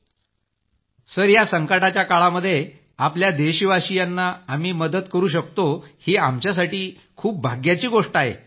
group captain sir या संकटाच्या काळात आपल्या देशवासियांना आम्ही मदत करू शकतो ही आमच्यासाठी भाग्याची गोष्ट आहे